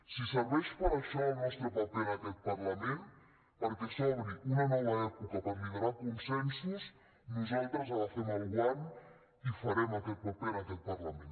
si serveix per a això el nostre paper en aquest parlament perquè s’obri una nova època per liderar consensos nosaltres agafem el guant i farem aquest paper en aquest parlament